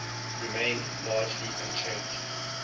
remained largely unchanged